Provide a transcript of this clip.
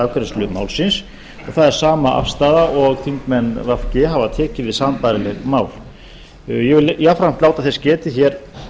afgreiðslu málsins það er sama afstaða og þingmenn v g hafa tekið við sambærileg mál ég vil jafnframt láta þess getið hér